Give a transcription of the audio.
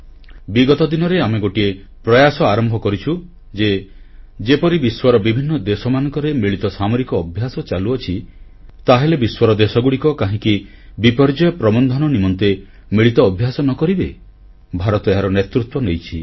ବିଗତ ଦିନରେ ଆମେ ଗୋଟିଏ ପ୍ରୟାସ ଆରମ୍ଭ କରିଛୁ ଯେ ଯେପରି ବିଶ୍ୱର ବିଭିନ୍ନ ଦେଶମାନଙ୍କରେ ମିଳିତ ସାମରିକ ଅଭ୍ୟାସ ଚାଲୁଅଛି ତାହେଲେ ବିଶ୍ୱର ଦେଶଗୁଡ଼ିକ କାହିଁକି ବିପର୍ଯ୍ୟୟ ପ୍ରବନ୍ଧନ ନିମନ୍ତେ ମିଳିତ ଅଭ୍ୟାସ ନ କରିବେ ଭାରତ ଏହାର ନେତୃତ୍ୱ ନେଇଛି